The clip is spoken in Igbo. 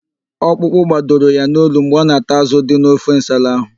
Okpụkpụ gbadoro ya n'olu mgbe ọ na-ata ázụ̀ dị n'ofe nsala ahụ.